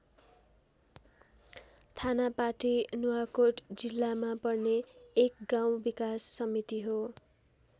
थानापाटी नुवाकोट जिल्लामा पर्ने एक गाउँ विकास समिति हो।